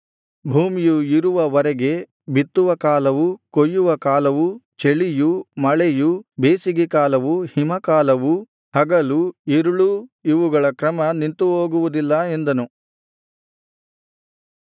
ಭೂಮಿಯು ಇರುವವರೆಗೆ ಬಿತ್ತುವ ಕಾಲವೂ ಕೊಯ್ಯುವ ಕಾಲವೂ ಚಳಿಯೂ ಮಳೆಯೂ ಬೇಸಿಗೆ ಕಾಲವೂ ಹಿಮಕಾಲವೂ ಹಗಲೂ ಇರುಳೂ ಇವುಗಳ ಕ್ರಮ ನಿಂತುಹೋಗುವುದಿಲ್ಲ ಎಂದನು